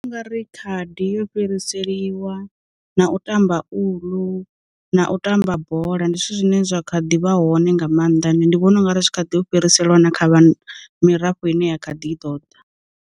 U nga ri khadi yo u fhiriseliwa, na u tamba uḽu, na u tamba bola. Ndi zwithu zwine zwa kha ḓivha hone nga mannḓa end ndi vhona u nga ri tshi kha ḓi u fhiriselwa na kha vha mirafho ine ya kha ḓi ḓo ḓa.